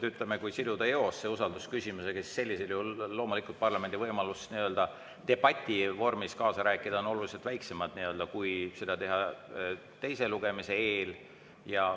Ütleme, kui siduda eos usaldusküsimusega, siis sellisel juhul loomulikult parlamendi võimalus debativormis kaasa rääkida on oluliselt väiksem kui siis, kui seda teha teise lugemise eel.